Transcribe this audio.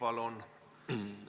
Palun!